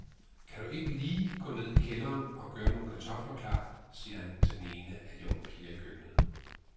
Kan du ikke lige gå ned i kælderen og gøre nogle kartofler klar, siger han til den ene af de unge piger i køkkenet.